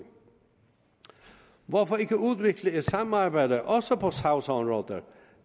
hvorfor ikke udvikle et samarbejde også på sagsområder